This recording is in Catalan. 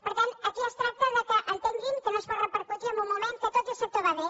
per tant aquí es tracta que entenguin que no es pot repercutir en un moment en què tot i que el sector va bé